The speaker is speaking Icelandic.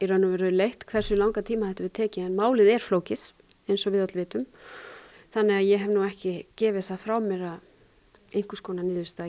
leitt hversu langan tíma þetta hefur tekið en málið er flókið eins og við öll vitum þannig að ég hef ekki gefið það frá mér að einhvers konar niðurstaða